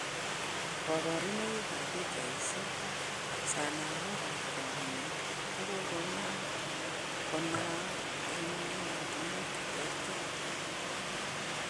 Koborunooik eb pichaisieg ,sonomok ab chomyet kogogonam konaang' en emotunwek cheterter.